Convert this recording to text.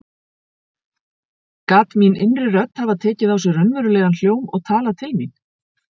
Gat mín innri rödd hafa tekið á sig raunverulegan hljóm og talað til mín?